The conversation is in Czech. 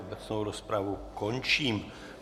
Obecnou rozpravu končím.